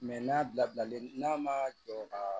n'a bilalen n'a ma jɔ ka